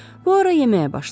Puaro yeməyə başladı.